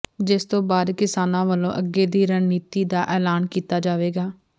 ਜਿਸ ਤੋਂ ਬਾਅਦ ਕਿਸਾਨਾਂ ਵਲੋਂ ਅੱਗੇ ਦੀ ਰਣਨੀਤੀ ਦਾ ਐਲਾਨ ਕੀਤਾ ਜਾਵੇਗਾ